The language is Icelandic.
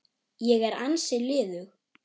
Ég er ansi liðug!